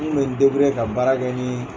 N kun bɛ n ka baara kɛ nin